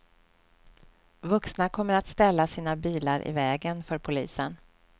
Vuxna kommer att ställa sina bilar i vägen för polisen.